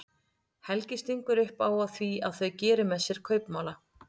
Helgi stingur upp á því að þau geri með sér kaupmála.